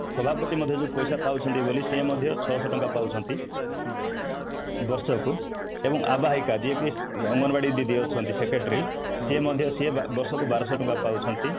ସଭାପତି ମଧ୍ୟ ଯୋଉ ପଇସା ପାଉଛନ୍ତି ବୋଲି ସେ ମଧ୍ୟ ଛଅ ଶହ ଟଙ୍କା ପାଉଛନ୍ତି ବର୍ଷ କୁ ଏବଂ ଆବାହିକା ଯିଏ କି ଅଙ୍ଗନବାଡି ଦିଦି ଅଛନ୍ତି secretary ସେ ମଧ୍ୟ ବର୍ଷ କୁ ବାରଶହ ଟଙ୍କା ପାଉଛନ୍ତି